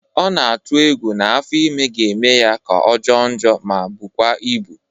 Ọ na-atụ egwu na afọ ime ga-eme ya ka ọ jọọ njọ ma bụkwa ịbụ